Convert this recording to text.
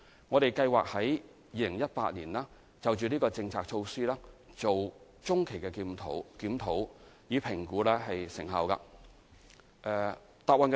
我們計劃在2018年就這項政策進行中期檢討，以評估成效。